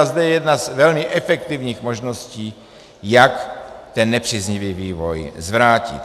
A zde je jedna z velmi efektivních možností, jak ten nepříznivý vývoj zvrátit.